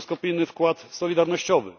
mikroskopijny wkład solidarnościowy.